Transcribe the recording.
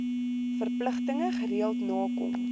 verpligtinge gereeld nakom